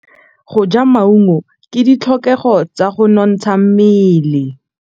Go ja maungo ke ditlhokegô tsa go nontsha mmele.